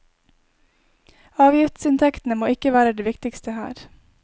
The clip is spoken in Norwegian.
Avgiftsinntektene må ikke være det viktigste her.